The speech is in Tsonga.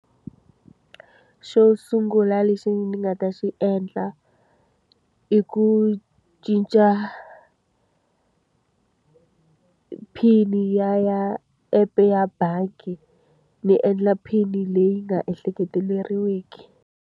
Xo sungula lexi ni nga ta xi endla i ku cinca PIN-i ya ya app-e ya bangi, ni endla PIN-i leyi nga ehleketeleriwiki.